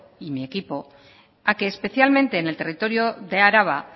y mi equipo a que especialmente en el territorio de araba